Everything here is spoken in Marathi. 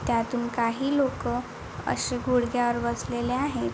त्यातून काही लोक अशी गुडघ्यावर बसलेली आहेत.